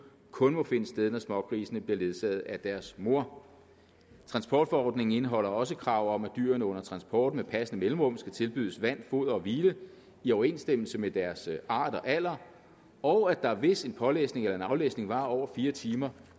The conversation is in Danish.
kun må finde sted når smågrisene bliver ledsaget af deres mor transportforordningen indeholder også krav om at dyrene under transport med passende mellemrum skal tilbydes vand foder og hvile i overensstemmelse med deres art og alder og at der hvis en pålæsning eller aflæsning varer over fire timer